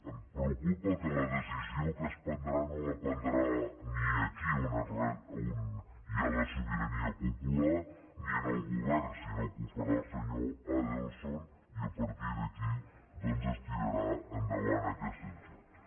em preocupa que la decisió que es prendrà no es prendrà ni aquí on hi ha la sobirania popular ni en el govern sinó que ho farà el senyor adelson i a partir d’aquí es tirarà endavant aquest daixò